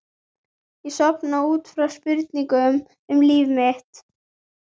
Ég sofna út frá spurningum um líf mitt.